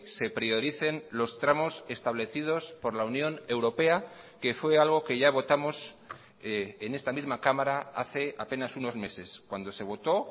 se prioricen los tramos establecidos por la unión europea que fue algo que ya votamos en esta misma cámara hace apenas unos meses cuando se votó